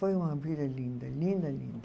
Foi uma vida linda, linda, linda.